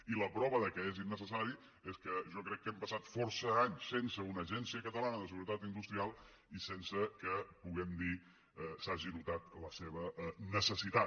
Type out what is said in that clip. i la prova que és innecessari és que jo crec que hem passat força anys sense una agència catalana de seguretat industrial i sense que puguem dir que s’hagi notat la seva necessitat